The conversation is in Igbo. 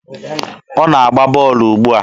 Ọ na-agba bọọlụ ugbua?